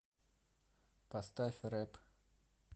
поставь рэп